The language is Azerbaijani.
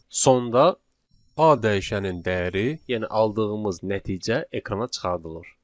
Sonda A dəyişəninin dəyəri, yəni aldığımız nəticə ekrana çıxardılır.